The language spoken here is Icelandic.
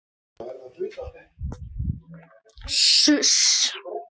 Við sendum bréf til Englands. Hvert sendið þið bréf?